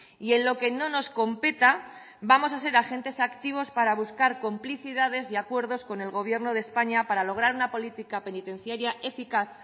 y en lo que no nos competa vamos a ser agentes activos para buscar complicidades y acuerdos con el gobierno de españa para lograr una política penitenciaria eficaz